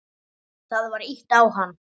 Það var ýtt á hann.